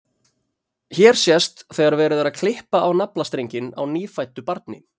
hér sést þegar verið er að klippa á naflastrenginn á nýfæddu barni